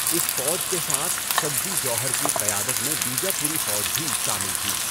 اس فوج کے ساتھ سدّی جوہر کی قیادت میں بیجاپوری فوج بھی شامل تھی۔